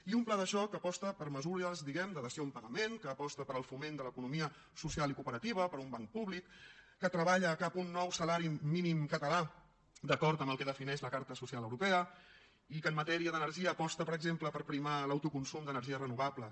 i un pla de xoc que aposta per mesures diguem ne de dació en pagament que aposta per al foment de l’economia social i cooperativa per un banc públic que treballa cap a un nou salari mínim català d’acord amb el que defineix la carta social europea i que en matèria d’energia aposta per exemple per primar l’autoconsum d’energies renovables